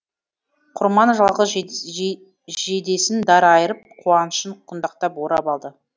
құрман жалғыз жейдесін дар айырып қуанышын құндақтап орап алды